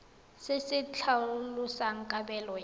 se se tlhalosang kabelo ya